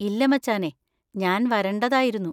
ഇല്ല മച്ചാനെ, ഞാൻ വരണ്ടതായിരുന്നു.